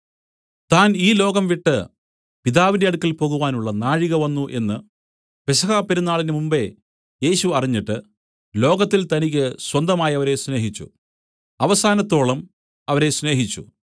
താൻ ഈ ലോകം വിട്ടു പിതാവിന്റെ അടുക്കൽ പോകുവാനുള്ള നാഴിക വന്നു എന്നു പെസഹാ പെരുന്നാളിന് മുമ്പെ യേശു അറിഞ്ഞിട്ട് ലോകത്തിൽ തനിക്കു സ്വന്തമായവരെ സ്നേഹിച്ചു അവസാനത്തോളം അവരെ സ്നേഹിച്ചു